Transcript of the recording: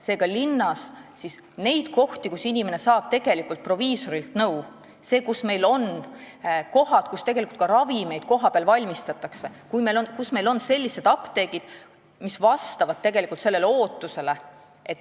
Seega, linnas ei ole neid kohti, kus inimene saab tegelikult proviisorilt nõu – apteegid ei ole need kohad, kus ravimeid ka kohapeal valmistatakse, ja need ei vasta meie ootusele.